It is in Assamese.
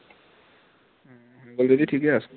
হৈ গল যদি ঠিকে আছে